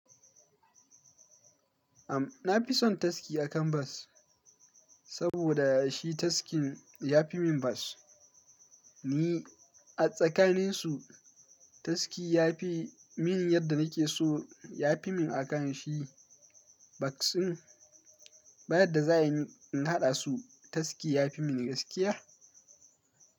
Am, na fi son taski a kan bas, saboda shi taskin ya fi min bas. Ni a tsakaninsu, taski ya fi min yadda nake so ya fi min a kan shi. Bas ɗin, bayan da za in haɗa su, taski ya fi mini gaskiya.